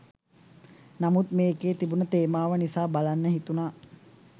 නමුත් මේකේ තිබුණු තේමාව නිසා බලන්න හිතුණා.